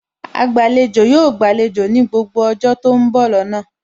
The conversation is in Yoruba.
Agbàlejò yóò gbàlejò ní gbogbo ọjọ́ tó ń bọ̀ lọ́nà